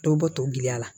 Dɔw bɔ tɔ giriya la